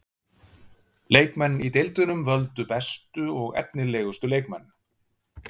Leikmenn í deildunum völdu bestu og efnilegustu leikmenn.